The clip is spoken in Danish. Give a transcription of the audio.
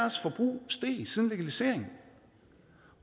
steget siden legaliseringen